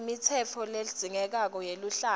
imitsetfo ledzingekako yeluhlaka